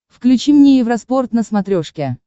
включи мне евроспорт на смотрешке